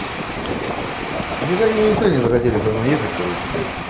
видимо они никто не захотели со мной ехать короче блять